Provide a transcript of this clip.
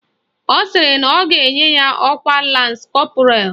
Ọ sịrị na ọ ga-enye ya ọkwa Lans Kọpụral